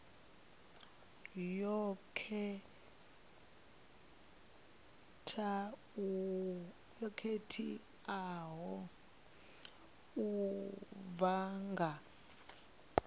yo khetheaho u bva kha